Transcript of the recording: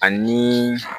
Ani